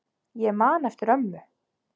Ég man eftir ömmu.